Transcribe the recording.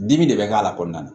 Dimi de bɛ k'a la kɔnɔna na